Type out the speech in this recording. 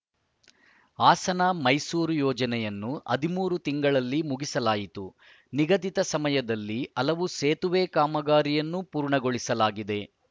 ಹಾಸನಮೈಸೂರು ಯೋಜನೆಯನ್ನು ಹದಿಮೂರು ತಿಂಗಳಲ್ಲಿ ಮುಗಿಸಲಾಯಿತು ನಿಗದಿತ ಸಮಯದಲ್ಲಿ ಹಲವು ಸೇತುವೆ ಕಾಮಗಾರಿಯನ್ನು ಪೂರ್ಣಗೊಳಿಸಲಾಗಿದೆ